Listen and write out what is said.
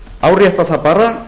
árétta það bara